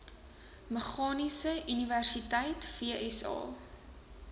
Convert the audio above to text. meganiese universiteit vsa